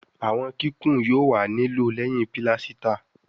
àwọn kíkún yóò wá ní lòó léhìn pilasita